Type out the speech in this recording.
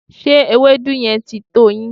Ṣé ewedu yẹn ti tó yín?